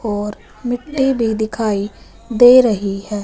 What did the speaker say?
और मिट्टी भी दिखाई दे रही है।